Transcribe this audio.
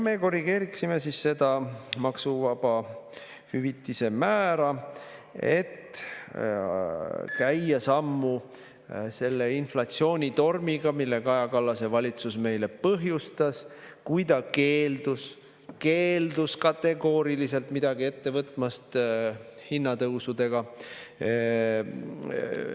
Me korrigeeriksime maksuvaba hüvitise määra, et käia sammu inflatsioonitormiga, mille Kaja Kallase valitsus meile põhjustas, kui ta kategooriliselt keeldus midagi hinnatõusudega ette võtmast.